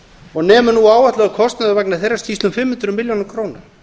og nemur nú áætlaður kostnaður vegna þeirrar skýrslu um fimm hundruð milljónum króna